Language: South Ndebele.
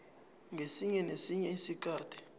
ngesinye nesinye isikhathi